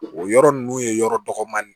O yɔrɔ ninnu ye yɔrɔ dɔgɔmanin ye